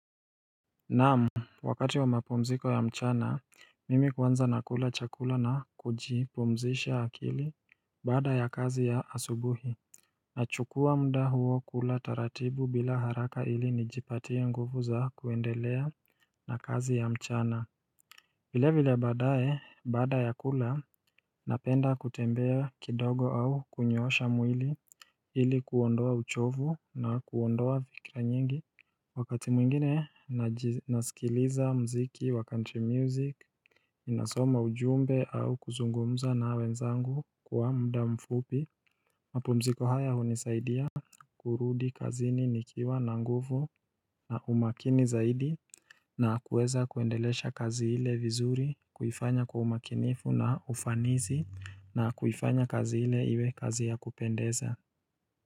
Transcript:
Naam wakati wa mapumziko ya mchana mimi kwanza nakula chakula na kujipumzisha akili baada ya kazi ya asubuhi Nachukua muda huo kula taratibu bila haraka ili nijipatie nguvu za kuendelea na kazi ya mchana vile vile baadaye baada ya kula napenda kutembea kidogo au kunyoosha mwili ili kuondoa uchovu na kuondoa fikra nyingi Wakati mwingine nasikiliza muziki wa country music nasoma ujumbe au kuzungumza na wenzangu kwa muda mfupi mapumziko haya hunisaidia kurudi kazini nikiwa na nguvu na umakini zaidi na kuweza kuendelesha kazi hile vizuri kuifanya kwa umakinifu na ufanisi na kuifanya kazi ile iwe kazi ya kupendeza.